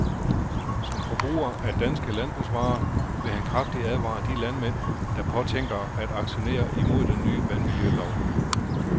Som forbruger af danske landbrugsvarer vil han kraftigt advare de landmænd, der påtænker at aktionere imod den nye vandmiljølov.